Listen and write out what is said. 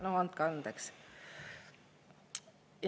No andke andeks!